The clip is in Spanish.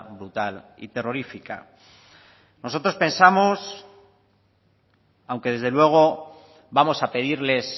brutal y terrorífica nosotros pensamos aunque desde luego vamos a pedirles